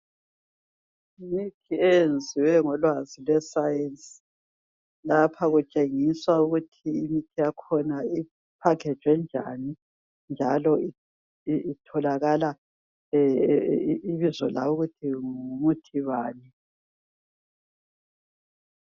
Imithi eyenziwe ngolwazi lwe sayensi lapha kutshengiswa ukuthi imithi yakhona ipakhejwe njani njalo itholakale ibizo layo ukuthi ngumuthi bani